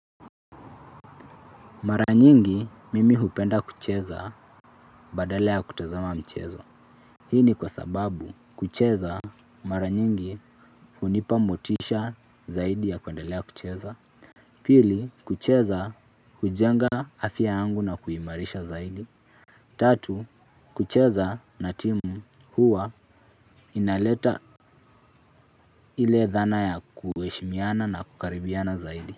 Mara nyingi, mimi hupenda kucheza badala ya kutazama mchezo. Hii ni kwa sababu kucheza maranyingi hunipa motisha zaidi ya kuendelea ya kucheza. Pili kucheza hujenga afya yangu na kuimarisha zaidi. Tatu, kucheza na timu huwa inaleta ile dhana ya kueshimiana na kukaribiana zaidi.